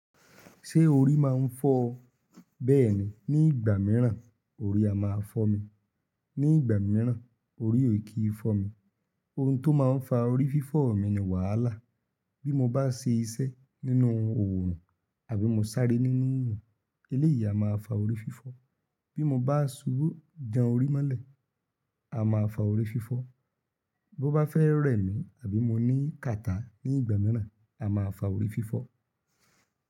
Ṣé orí máa ń fọ́? Bẹ́ẹ̀ni, ní ìgbà mìíràn orí a máa fọ́ mi, ní ìgbà mìíràn orí ò kí fọ́ mi. Ohun tó máa ń fa orí fífọ́ mi ni wàhálà. Bí mo bá ṣe iṣẹ́ nínú oòrùn àbí mo sáré nínú oòrùn, eléyìí a máa fa orí fífọ́. Bí mo báà ṣubú jan orí mọ́ lẹ̀ a máa fa orí fí fọ́ bí ó bá fẹ́ rẹ̀ mí àbí mo ní kàtá ní ìgbà mìíràn, a máa fa orí fífọ́.